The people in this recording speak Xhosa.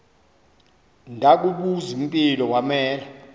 ndakubuz impilo wanela